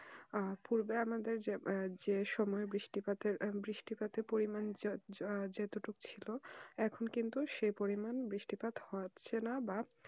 আর পূর্বে আমাদের যে সময় বৃষ্টি পাতে পরিমান যতটুকু ছিল এখন কিন্তু সেই পরিমান বৃষ্টি পাত হচ্ছে না বা